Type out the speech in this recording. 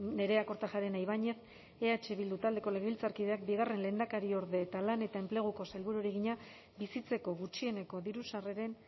nerea kortajarena ibañez eh bildu taldeko legebiltzarkideak bigarren lehendakariorde eta lan eta enpleguko sailburuari egina bizitzeko gutxieneko diru sarreren